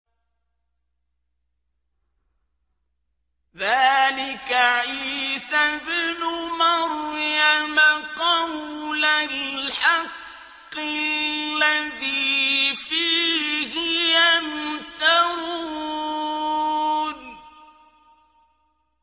ذَٰلِكَ عِيسَى ابْنُ مَرْيَمَ ۚ قَوْلَ الْحَقِّ الَّذِي فِيهِ يَمْتَرُونَ